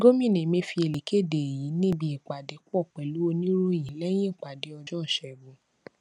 gómìnà emefiele kéde èyí níbi ìpàdépò pèlú oníròyìn léyìn ìpàdé ọjó ìṣégun